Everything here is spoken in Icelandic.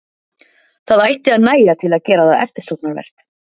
Það ætti að nægja til að gera það eftirsóknarvert.